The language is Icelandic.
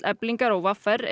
Eflingar og v r